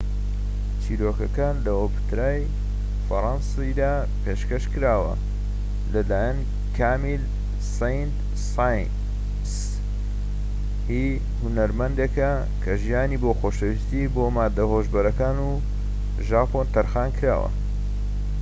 چیرۆکەکە لە ئۆپێرای فەرەنسیدا پێشکەش کراوە لەلایەن کامیل سەینت ساینس هی هونەرمەندێکە کە ژیانی بۆ خۆشەویستی بۆ ماددە هۆشبەرەکان و ژاپۆن تەرخانکراوە